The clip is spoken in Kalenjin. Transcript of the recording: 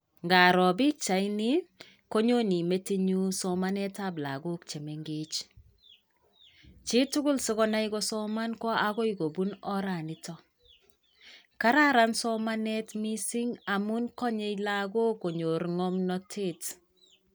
Ngaroo pikchaitni konyoni metinnyu somanetab lagook che mengej. Chitugul si konai kosoman ko agoi kobun oranito. Kararan somanet missing amu kanyei lagook konyor ng'omnatet.